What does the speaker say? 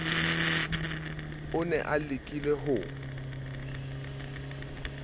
o ne a lekile ho